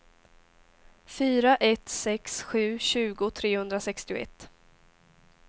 fyra ett sex sju tjugo trehundrasextioett